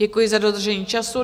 Děkuji za dodržení času.